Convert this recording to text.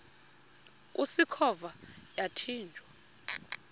usikhova yathinjw a